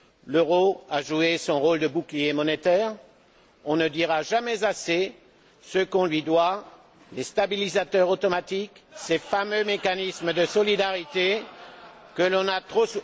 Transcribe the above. L'euro a joué son rôle de bouclier monétaire, on ne dira jamais assez ce qu'on lui doit les stabilisateurs automatiques, ces fameux mécanismes de solidarité, que l'on a trop...